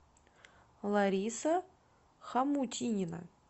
лариса хамутинина